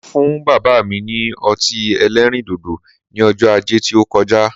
Mo fún bàbá mi ní ọtí ẹlẹ́rìn dòdò ní ọjọ́ ajé tí ó koja